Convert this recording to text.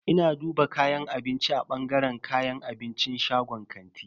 Ina duba kayan abinci a bangaren kayan abincin shagon kantin.